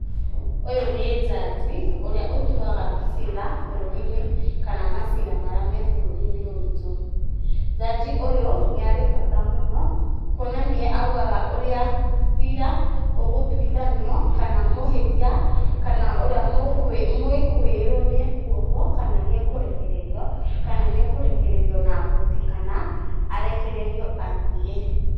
Ũyũ nĩ njaji ũrĩa ũtuaga cira bũrũri-inĩ kana macira marĩa me bũrũri-inĩ witũ. Jaji ũyũ nĩarĩ bata mũno kuona nĩe augaga ũrĩa cira ũgũtuithanio kana mũhĩtia kana ũrĩa mũĩkwĩĩrwo nĩekuohwo kana nĩekũrekererio, kana nĩekũrekererio na mbondi kana arekererio athiĩ.